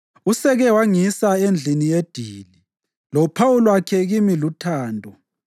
Useke wangisa endlini yedili, lophawu lwakhe kimi luthando.